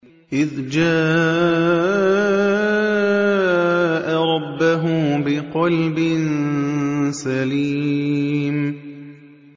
إِذْ جَاءَ رَبَّهُ بِقَلْبٍ سَلِيمٍ